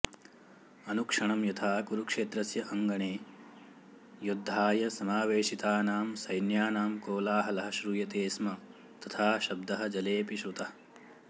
अनुक्षणं यथा कुरुक्षेत्रस्य अङ्गणे युद्धाय समावेशितानां सैन्यानां कोलाहलः श्रूयते स्म तथा शब्दः जलेऽपि श्रुतः